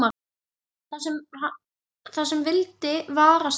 Það sem vildi varast hann.